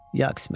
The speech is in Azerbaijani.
Ya qismət.